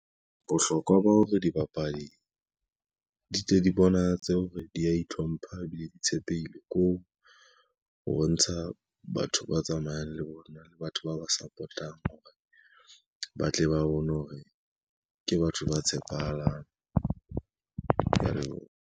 Bohlokwa ba hore dibapadi, di tle di bonahatse ho re di a itlhompha ebile di tshepehile, ko ho bontsha batho ba tsamayang le bona le batho ba ba support-ang hore ba tle ba bone hore ke batho ba tshepahalang, kea leboha.